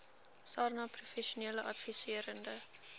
sarnap professionele adviserende